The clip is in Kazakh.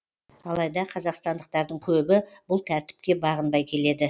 алайда қазақстандықтардың көбі бұл тәртіпке бағынбай келеді